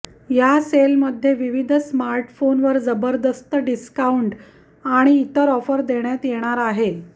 या सेलमध्ये विविध स्मार्टफोनवर जबरदस्त डिस्काऊंट आणि इतर ऑफर देण्यात येणार आहे